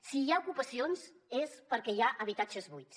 si hi ha ocupacions és perquè hi ha habitatges buits